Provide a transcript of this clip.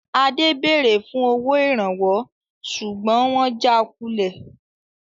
Adé béèrè fún owó Ìrànwọ́ ṣùgbọ́n wọn jà kulẹ̀